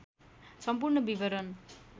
सम्पूर्ण विवरण